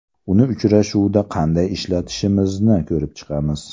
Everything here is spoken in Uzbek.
Uni uchrashuvda qanday ishlatishimizni ko‘rib chiqamiz.